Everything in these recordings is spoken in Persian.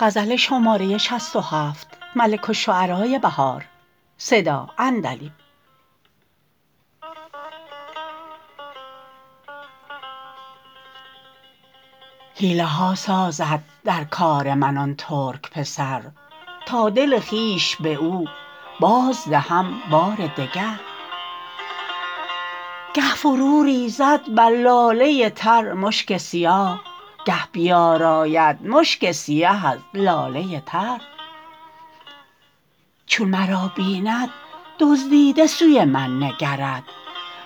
حیله ها سازد در کار من آن ترک پسر تا دل خویش به او بازدهم بار دگر گه فرو ریزد بر لاله تر مشک سیاه گه بیاراید مشک سیه از لاله تر چون مرا بیند دزدیده سوی من نکرد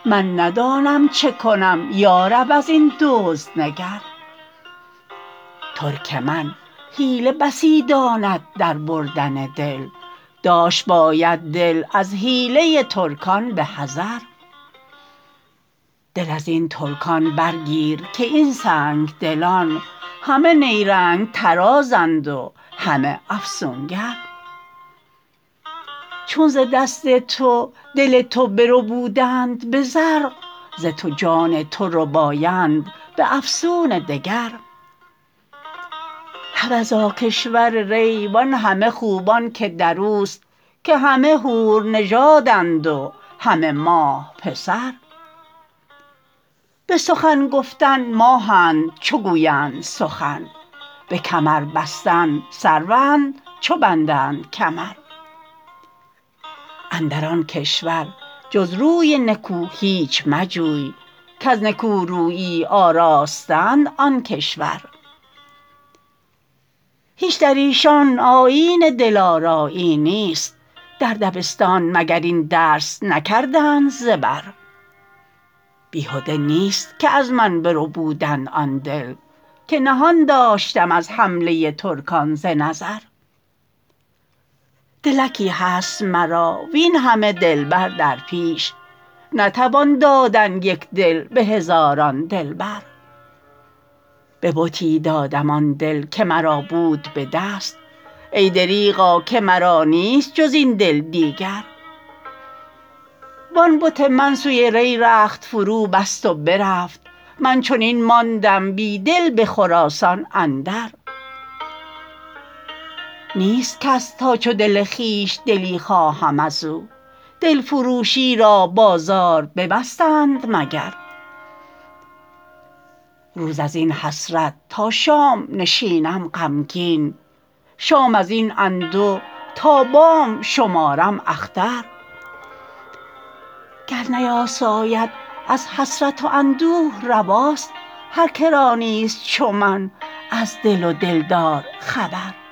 من ندانم چه کنم یارب ازین دزد نگر ترک من حیله بسی داند در بردن دل داشت باید دل از حیله ترکان به حذر دل ازین ترکان برگیر که این سنگ دلان همه نیرنگ طرازند و همه افسونگر چون ز دست تو دل تو بربودند به زرق ز تو جان تو ربایند به افسون دگر حبذا کشور ری و آن همه خوبان که دروست که همه حور نژادند و همه ماه پسر به سخن گفتن ماهند چوگوبند سخن به کمر بستن سروند چو بندند کمر اندر آن کشور جز روی نکو هیچ مجوی کز نکورویی آراسته اند آن کشور هیچ در ایشان آیین دل آرایی نیست در دبستان مگر این درس نکردند زبر بیهده نیست که از من بربودند آن دل که نهان داشتم از حمله ترکان ز نظر دلکی هست مرا وین همه دلبر در پیش نتوان دادن یک دل به هزاران دلبر به بتی دادم آن دل که مرا بود به دست ای دریغا که مرا نیست جز این دل دیگر وان بت من سوی ری رخت فروبست و برفت من چنین ماندم بی دل به خراسان اندر نیست کس تا چو دل خوبش دلی خواهم ازو دل فروشی را بازار ببستند مگر روز از این حسرت تا شام نشینم غمگین شام ازین انده تا بام شمارم اختر گر نیاساید از حسرت و اندوه رواست هرکرا نیست چو من از دل و دلدار خبر